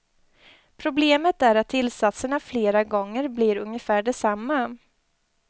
Problemet är att tillsatserna flera gånger blir ungefär desamma.